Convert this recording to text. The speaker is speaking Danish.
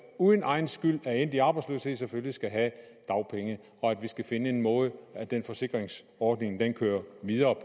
uden egen skyld er endt i arbejdsløshed selvfølgelig skal have dagpenge og at vi skal finde en måde den forsikringsordning kører videre